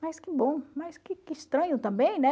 Mas que bom, mas que estranho também, né?